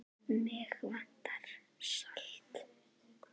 Mig vantar salt.